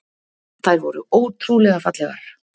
Þær voru ótrúlega fallegar.